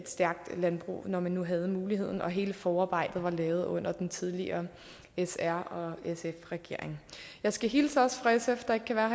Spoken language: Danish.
stærkt landbrug når man nu havde muligheden og hele forarbejdet var lavet under den tidligere s r sf regering jeg skal hilse også fra sf der ikke kan være